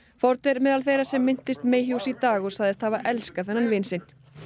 Ford er meðal þeirra sem minntist Mayhews í dag og sagðist hafa elskað vin sinn Mayhew